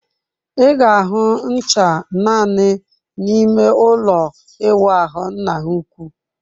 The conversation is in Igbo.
Ị ga-ahụ ncha naanị n'ime ụlọ ịwụ ahụ nna ha ukwu.